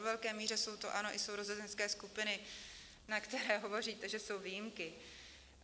Ve velké míře jsou to, ano, i sourozenecké skupiny, na které hovoříte, že jsou výjimky.